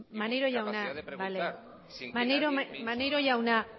y capacidad de preguntar sin que nadie me insulte maneiro jauna